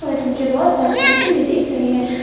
मुझे बहुत सारी स्कूटी भी दिख रही है।